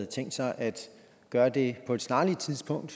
tænkt sig at gøre det på et snarligt tidspunkt